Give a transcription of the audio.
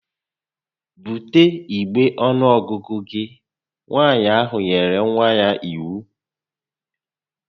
Bute igbe ọnuọgụgụ gị! Nwaanyị ahụ nyere nwa ya iwu